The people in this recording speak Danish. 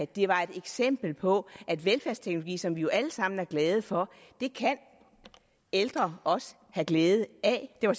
det var et eksempel på at velfærdsteknologi som vi jo alle sammen er glade for kan ældre også have glæde af det var